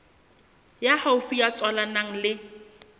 ya haufi ya tswalanang le